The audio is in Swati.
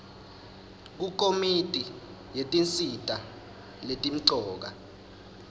kukomiti yetinsita letimcoka